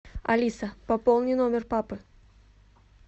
алиса пополни номер папы